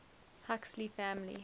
huxley family